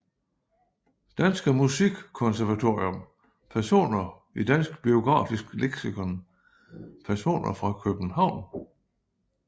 Danske Musikkonservatorium Personer i Dansk Biografisk Leksikon Personer fra København